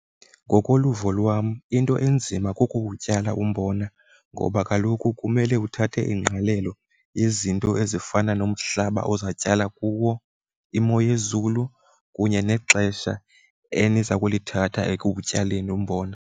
Ngokoluvo lwam into enzima kukuwutyala umbona ngoba kaloku kumele uthathe ingqalelo yezinto ezifana nomhlaba oza tyala kuwo, imo yezulu kunye nexesha eniza kulithatha ekutyaleni umbona.